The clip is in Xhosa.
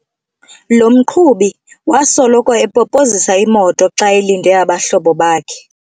Lo mqhubi wasoloko epopozisa imoto xa elinde abahlobo bakhe.